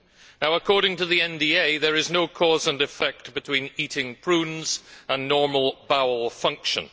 Now according to the NDA there is no cause and effect between eating prunes and normal bowel function.